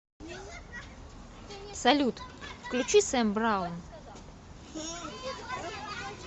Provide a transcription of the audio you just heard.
салют включи сэм браун